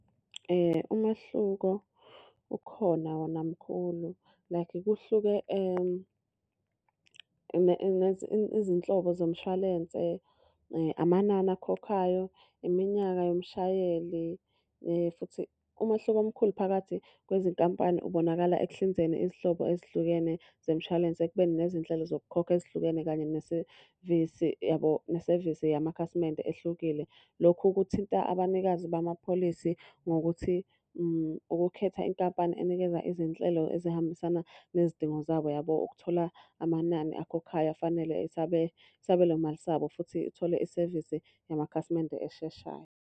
Umehluko ukhona wona mkhulu. Like kuhluke izinhlobo zomshwalense, amanani akhokhwayo, iminyaka yomshayeli. Futhi umahluko omkhulu phakathi kwezinkampani ubonakala ekuhlinzeni izinhlobo ezihlukene zemshwalense ekubeni nezinhlelo zokukhokha ezihlukene kanye nesevisi yabo nesevisi yamakhasimende ehlukile. Lokhu kuthinta abanikazi bamapholisi ngokuthi, ukukhetha inkampani enikeza izinhlelo ezihambisana nezidingo zabo yabo. Ukuthola amanani akhokhayo afanele isabelo mali sabo futhi uthole isevisi yamakhasimende esheshayo.